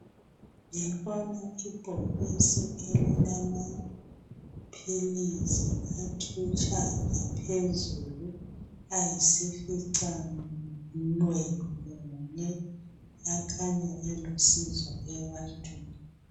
Ngibona ibhokisi elilamaphilisi athutsha ngaphezulu ayisifica minwe munye akhanya elusizo ebantwini.